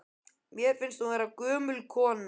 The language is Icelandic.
Mér finnst hún vera gömul kona.